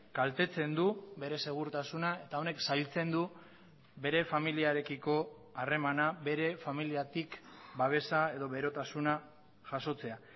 kaltetzen du bere segurtasuna eta honek zailtzen du bere familiarekiko harremana bere familiatik babesa edo berotasuna jasotzea